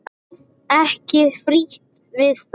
Ekki frítt við það!